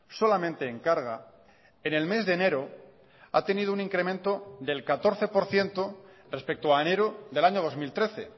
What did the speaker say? solamente en carga en el mes de enero ha tenido un incremento del catorce por ciento respecto a enero del año dos mil trece